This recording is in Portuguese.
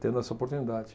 tendo essa oportunidade.